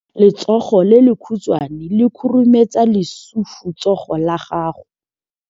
Letsogo le lekhutshwane le khurumetsa lesufutsogo la gago.